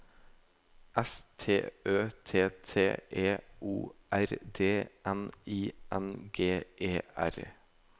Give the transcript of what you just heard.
S T Ø T T E O R D N I N G E R